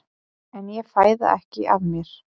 En ég fæ það ekki af mér.